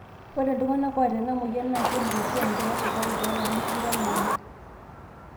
ore iltungsnsk oots ena moyian naa keibung oshi enkeeya esukari toolarin tikitam oobo